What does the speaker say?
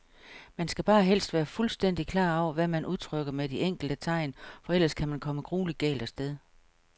Man skal bare helst være fuldstændigt klar over, hvad man udtrykker med de enkelte tegn, for ellers kan man komme grueligt galt af sted.